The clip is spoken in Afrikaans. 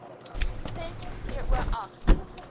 ses to agt